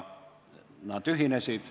Nad ühinesid.